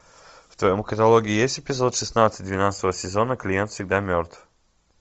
в твоем каталоге есть эпизод шестнадцать двенадцатого сезона клиент всегда мертв